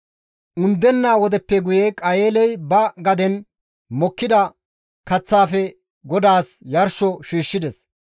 Undenna wodeppe guye Qayeeley ba gaden mokkida kaththaafe Godaas yarsho shiishshides.